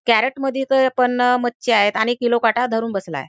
Crate मध्ये तर पण मच्छी आहे आणि किलो काटा धरून बसलाय.